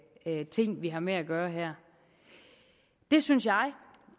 en ting vi har med at gøre her det synes jeg